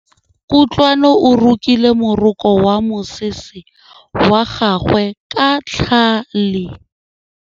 Kutlwanô o rokile morokô wa mosese wa gagwe ka tlhale.